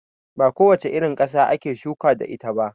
Ba ko wace irin ƙasa ake shuka da ita ba.